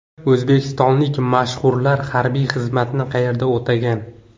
O‘zbekistonlik mashhurlar harbiy xizmatni qayerda o‘tagan?.